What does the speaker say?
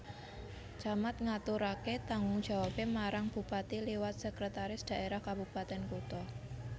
Camat ngaturaké tanggung jawabé marang bupati liwat Sekretaris Daerah Kabupatèn Kutha